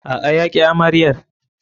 A'a, ya ƙi amaryar.